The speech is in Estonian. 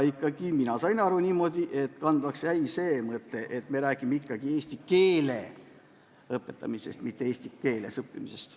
Mina sain aru niimoodi, et kandvaks jäi ikkagi see mõte, et me räägime eelkõige eesti keele õpetamisest, mitte eesti keeles õppimisest.